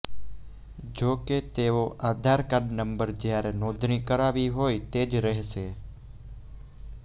જો કે તેનો આધાર કાર્ડ નંબર જયારે નોંધણી કરાવી હોય તે જ રહેશે